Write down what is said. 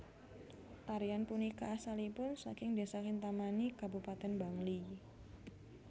Tarian punika asalipun saking Desa Kintamani Kabupaten Bangli